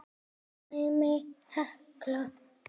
Dæmi: Hekla